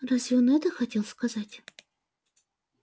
разве он это хотел сказать